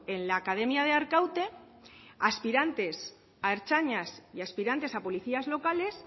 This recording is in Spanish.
en la academia de arkaute aspirantes a ertzainas y aspirantes a policías locales